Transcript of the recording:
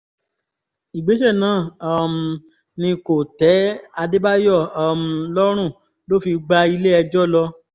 ìgbésẹ̀ náà um ni kò tẹ́ adébáyò um lọ́rùn ló fi gbá ilé-ẹjọ́ lọ